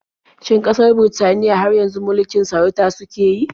Shin ƙasar Birtaniya har yanzu mulikin sarauta suke yi?